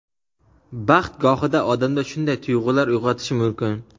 Baxt gohida odamda shunday tuyg‘ular uyg‘otishi mumkin.